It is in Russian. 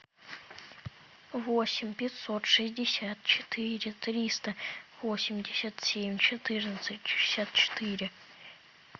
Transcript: восемь пятьсот шестьдесят четыре триста восемьдесят семь четырнадцать шестьдесят четыре